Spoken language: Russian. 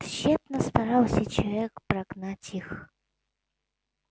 тщетно старался человек прогнать их